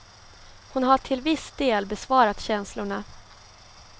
Hon har till viss del besvarat känslorna.